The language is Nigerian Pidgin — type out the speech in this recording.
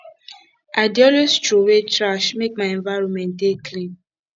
i dey always troway trash make my environment dey clean